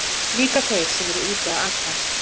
Líka þeir sem eru úti að aka.